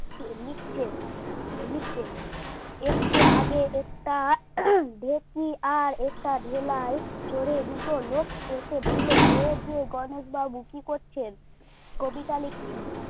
লিখছে লিখছে একটু আগে একটা ভেটকি আর একটা ভেলায় চোরে দুটো লোক এসে বলল এই যে গণেশ বাবু কি করছেন? কবিতা লিখছি।